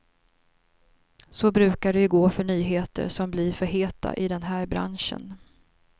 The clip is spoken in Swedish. Så brukar det ju gå för nyheter som blir för heta i den här branschen.